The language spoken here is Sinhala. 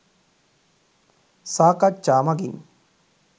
සාකච්ඡා මගින්